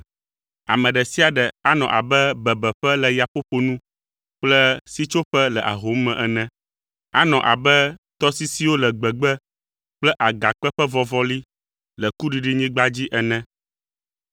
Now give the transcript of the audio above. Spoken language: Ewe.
Ame ɖe sia ɖe anɔ abe bebeƒe le yaƒoƒo nu kple sitsoƒe le ahom me ene. Anɔ abe tɔsisiwo le gbegbe kple agakpe ƒe vɔvɔli le kuɖiɖinyigba dzi ene.